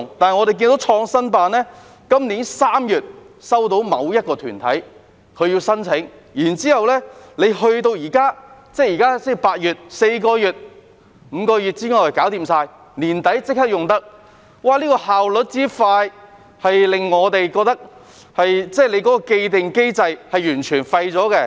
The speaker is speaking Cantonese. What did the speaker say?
但是，創新辦在今年3月收到某一個團體的申請，到了現在8月，才4個月、5個月便已全部完成，年底已經可以使用，效率之快令我們認為有關的既定機制完全是廢的。